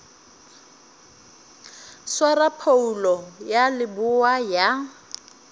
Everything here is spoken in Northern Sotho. swara phoulo ya leboa ya